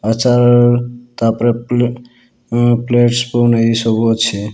ଆଚାର୍ ତାପ୍ ରେ ପ୍ଲୁଁ ଉଁ ପ୍ଲେଟ୍ସ୍ ସ୍ପୁନ୍ ଏଇ ସବୁ ଅଛି।